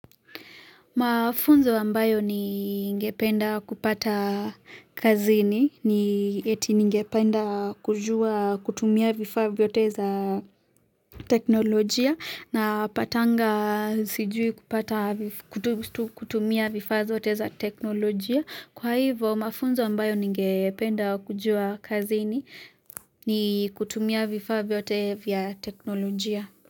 Mafunzo ambayo ni ngependa kupata kazini ni eti nigependa kujua kutumia vifaa vyote za teknolojia na patanga sijui kupata kutumia vifaa zote za teknolojia. Kwa hivo mafunzo ambayo nigependa kujua kazini ni kutumia vifaa vyote vya teknolojia.